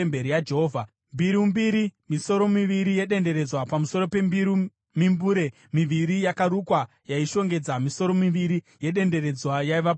mbiru mbiri; misoro miviri yedenderedzwa pamusoro pembiru; mimbure miviri yakarukwa yaishongedza misoro miviri yedenderedzwa yaiva pamusoro pembiru;